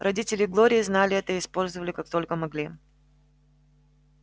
родители глории знали это и использовали как только могли